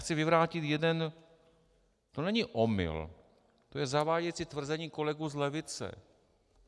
Chci vyvrátit jeden - to není omyl, to je zavádějící tvrzení kolegů z levice.